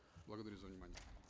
благодарю за внимание